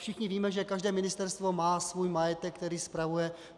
Všichni víme, že každé ministerstvo má svůj majetek, který spravuje.